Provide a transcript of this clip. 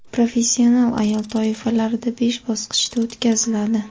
professional ayol toifalarida besh bosqichda o‘tkaziladi.